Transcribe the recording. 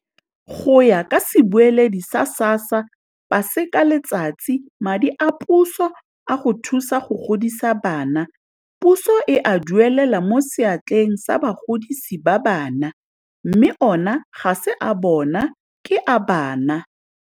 Go ya ka sebueledi sa SASSA Paseka Letsatsi, madi a puso a go thusa go godisa bana puso e a duelela mo seatleng sa bagodisi ba bana, mme ona ga se a bona ke a bana.